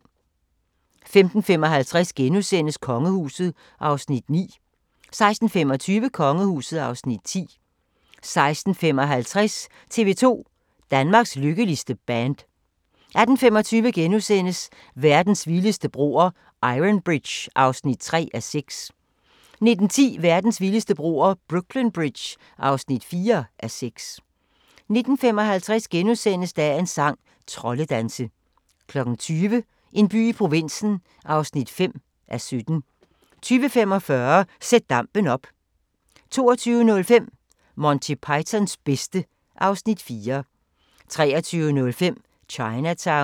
15:55: Kongehuset (Afs. 9)* 16:25: Kongehuset (Afs. 10) 16:55: tv-2 – Danmarks lykkeligste band 18:25: Verdens vildeste broer – Iron Bridge (3:6)* 19:10: Verdens vildeste broer – Brooklyn Bridge (4:6) 19:55: Dagens sang: Troldedanse * 20:00: En by i provinsen (5:17) 20:45: Sæt dampen op 22:05: Monty Pythons bedste (Afs. 4) 23:05: Chinatown